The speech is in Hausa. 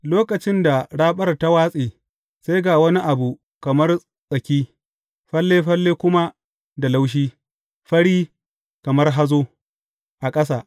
Lokacin da raɓar ta watse, sai ga wani abu kamar tsaki, falle falle kuma da laushi, fari, kamar hazo, a ƙasa.